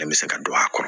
Bɛɛ bɛ se ka don a kɔnɔ